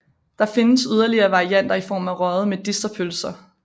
Der findes yderligere varianter i form af røgede medisterpølser